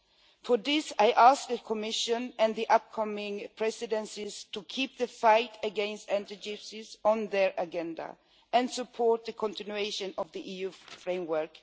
I therefore ask the Commission and the upcoming Presidencies to keep the fight against anti Gypsyism on their agenda and support the continuation of the EU framework.